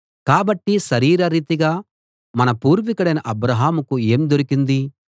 కాబట్టి శరీరరీతిగా మన పూర్వికుడైన అబ్రాహాముకు ఏం దొరికింది